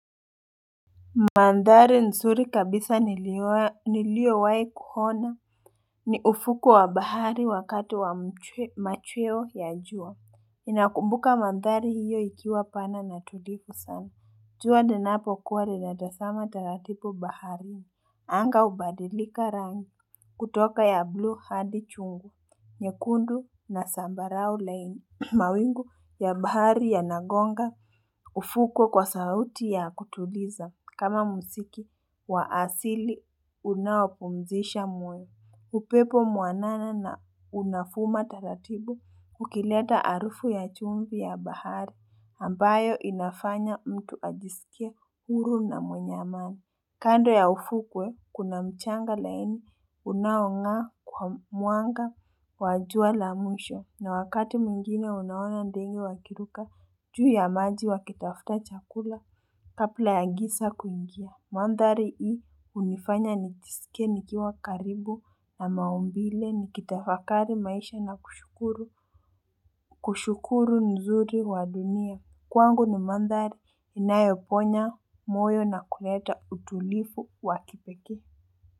Mandhari msuri kabisa nilio wahi kuhona. Ni ufuku wa bahari wakati wa machweo ya jua. Ninakumbuka mandhari hiyo ikiwa pana na tulipu sana. Juwa linapo kuwa linataama taratipu baharini. Anga ubadilika rangi. Kutoka ya blue hadi chungu. Nyekundu na sambarau laini. Mawingu ya bahari yanagonga. Ufuko kwa sauti ya kutuliza. Kama mziki wa asili unaoa pumzisha muwe. Upepo mwanana na unafuma taratibu kukileta harufu ya chumbi ya bahari ambayo inafanya mtu ajisikie huru na mwenye amani. Kando ya ufukwe, kuna mchanga laini unaongaa kwa mwanga wa jua la mwisho. Na wakati mwngine unaoana ndenge wakiruka juu ya maji wakitafuta chakula, kabla ya giza kuingia. Mandhari hii hunifanya nijisikie nikiwa karibu na maumbile nikitafakari maisha na kushukuru. Kushukuru uzuri wa dunia. Kwangu ni mandari inayoponya moyo na kuleta utulivu wa kipeke.